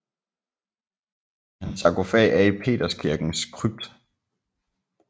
Hans sarkofag er i Peterskirkens krypt